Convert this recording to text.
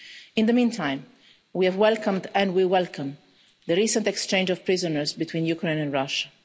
In the meantime, we have welcomed and we welcome the recent exchange of prisoners between Ukraine and Russia.